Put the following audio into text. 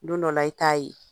Don dɔw la i t'a ye